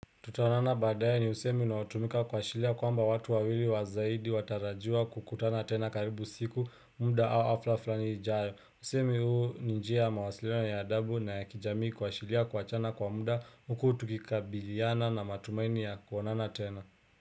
Tutaonana baadaye ni usemi unaotumika kuashiria kwamba watu wawili wa zaidi watarajiwa kukutana tena karibu siku, muda au hafla fulani ijayo. Usemi huu ni njia ya mawasiliano ya adabu na ya kijamii kuashiria kuachana kwa muda huku tukikabiliana na matumaini ya kuonana tena.